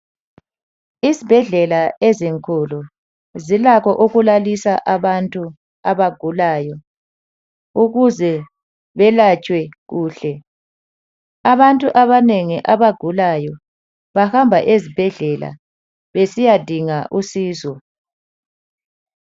Izibhedlela ezinkulu zilakho ukulalisa abantu abagulayo ukuze belatshwe kuhle. Abantu abanengi abagulayo bahamba ezibhedlela besiyadinga usizo.